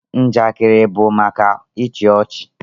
Njakịrị bụ maka ịchị ọchị